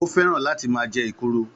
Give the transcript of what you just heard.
Ó fẹ́ràn láti máa jẹ ekuru